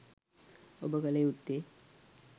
ඔබ කළ යුත්තේ